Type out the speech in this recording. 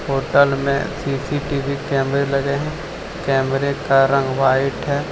Hotel में CCTV कैमरे लगे हैं कैमरे का रंग व्हाइट है।